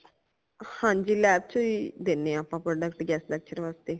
ਹਾਂਜੀ lab ਚੋ ਹੀ ਦੇਨੇ ਹਾਂ ਆਪਾ product guest lecture ਵਾਸਤੇ।